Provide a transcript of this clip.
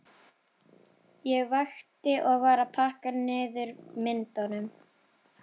Ég vakti og var að pakka niður myndunum.